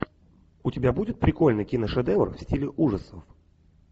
у тебя будет прикольный киношедевр в стиле ужасов